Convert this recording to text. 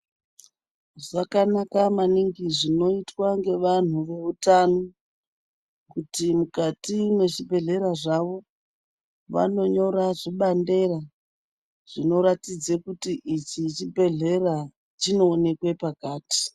Zvakanaka maningi zvinoitwa ngevanhu voutano kuti mukati mwezvibhehlera zvavo vanonyora zvibandera zvinoratidze kuti ichi chibhehlera, chinoonekwe pakati.